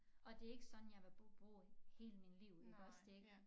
Og det ikke sådan jeg vil bo bo hele min liv iggås det ikke